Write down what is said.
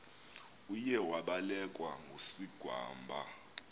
uye wabelekwa ngusigwamba